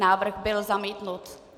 Návrh byl zamítnut.